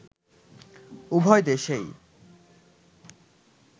উভয় দেশেই